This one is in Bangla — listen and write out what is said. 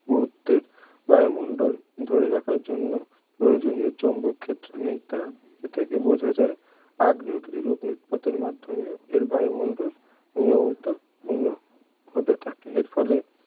পুরুত্বের বায়ুমণ্ডল ধরে রাখার জন্য প্রয়োজনীয় চৌম্বক ক্ষেত্র নেই তার এ থেকে বোঝা যায়, আগ্নেয়গিরির অগ্ন্যুৎপাতের মাধ্যমে এর বায়ুমণ্ডল নিয়মিত পূর্ণ হতে থাকে এর ফলে